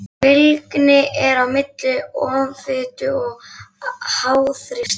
Fylgni er á milli offitu og háþrýstings.